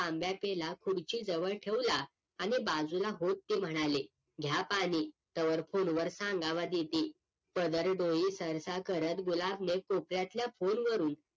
तांब्या पेला खुर्ची जवळ ठेवला आणि बाजूला होत ती म्हणाली घ्या पाणी तोवर PHONE वर सांगावा देते पदर डोळी सरसा करत गुलाब ने कोपऱ्यातल्या PHONE वरून